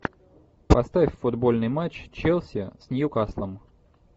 поставь футбольный матч челси с ньюкаслом